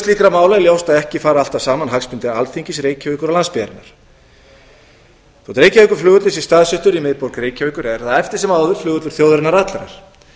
mála er ljóst að ekki fara alltaf saman hagsmunir alþingis reykjavíkur og landsbyggðarinnar þótt reykjavíkurflugvöllur sé staðsettur í miðborg reykjavíkur er það eftir sem áður flugvöllur þjóðarinnar allrar